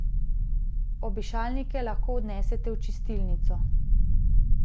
Obešalnike lahko odnesete v čistilnico.